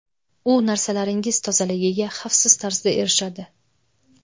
U narsalaringiz tozaligiga xavfsiz tarzda erishadi.